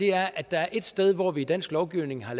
er at der er et sted hvor man i dansk lovgivning har